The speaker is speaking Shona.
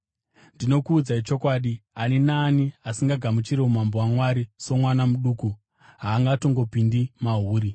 Ndinokuudzai chokwadi, ani naani asingagamuchiri umambo hwaMwari somwana muduku haangatongopindi mahuri.”